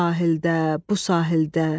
O sahildə, bu sahildə.